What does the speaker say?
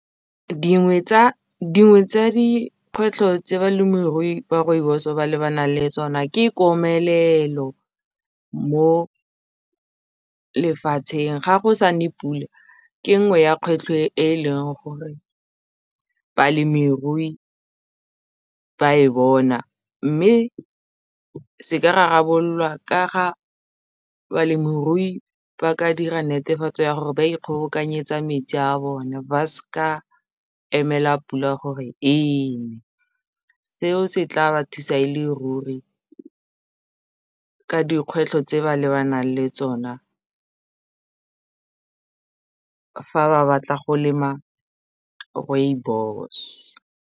Dingwe tsa dikgwetlho tse balemirui ba rooibos ba lebanang le tsona ke komelelo mo lefatsheng ga go sa ne pula ke nngwe ya kgwetlho e leng gore balemirui ba e bona mme se ka rarabololwa ka ga balemirui ba ka dira netefatso ya gore ba ikgobokanyetsa metsi a bone ba ska emela pula gore ene seo se tla ba thusa e le ruri ka dikgwetlho tse ba lebanang le tsona fa ba batla go lema rooibos.